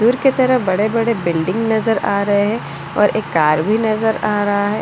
दूर की तरह बड़े-बड़े बिल्डिंग नजर आ रहे हैं और एक कार भी नजर आ रहा है।